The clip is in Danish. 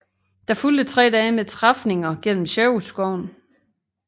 Der fulgte tre dage med træfninger gennem Sherwoodskoven